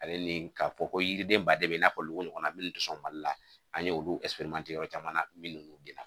Ale ni ka fɔ ko yiriden baden be i n'a fɔ nogo ɲɔgɔnna munnu te sɔn mali la an ye olu yɔrɔ caman minnu gilan